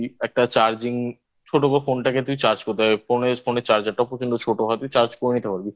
তুই একটা Charging ছোট Phone টাকে তুই Charge করতে হবে Phone Phone এ Charger টা খুব কিন্তু ছোট হবে Charge করে নিতে পারবি